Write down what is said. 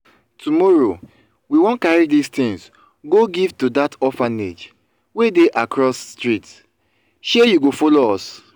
tomorrow we wan carry dis things go give to that orphanage wey dey across street shey you go follow us?